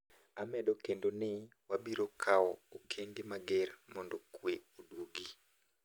"Amedo kendo ni wabiro kaw okenge mager mondo kwe oduog gi.